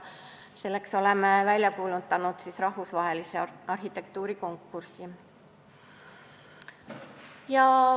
Selleks oleme välja kuulutanud rahvusvahelise arhitektuurikonkursi.